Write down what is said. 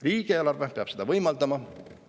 Riigieelarve peab seda võimaldama.